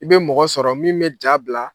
I bɛ mɔgɔ sɔrɔ min bɛ ja bila.